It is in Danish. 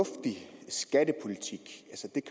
s